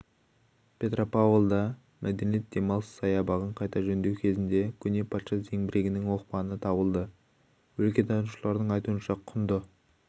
петропавлда мәдениет және демалыс саябағын қайта жөндеу кезінде көне патша зеңбірегінің оқпаны табылды өлкетанушылардың айтуынша құнды